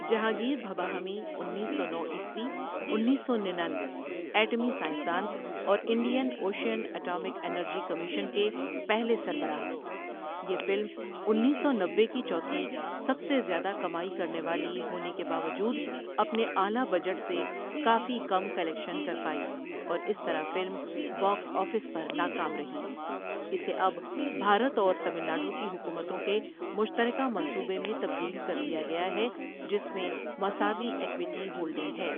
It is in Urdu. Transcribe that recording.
جهانگیر بهبها حمی انیس سو نوعیسوی انیس سو ننانوے ایٹمی سائنس دان اور Indian ocean atomic energy commission کے پہلے سربراہ یہ فلم انيس سو نوّے کی چوتھی سب سے زیادہ کمائی کرنے والے ہونے کے باوجود اپنے اعلیٰ بجٹ سے کافی کم کلیکشن کر پائی اور اس طرح فلم باکس آپس آفس پر ناکام رہی اسے اب بھارت اور تامل ناڈو کی حکومتوں کے مشترکہ منصوبے میں تبدیل کر دیا گیا ہے جس میں مساوی ایکویٹی ہولڈنگ ہے۔